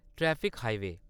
traffic highway